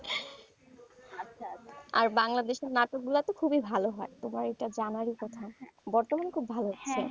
আর বাংলাদেশের নাটকগুলো তো খুবই ভালো হয় তোমার এটা জানার কথা বর্তমানে খুব ভালো হয়,